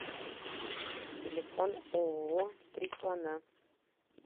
телефон ооо три слона